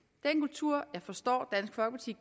er forstår